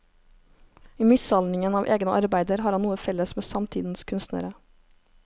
I mishandlingen av egne arbeider har han noe felles med samtidens kunstnere.